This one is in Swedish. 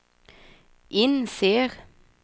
inser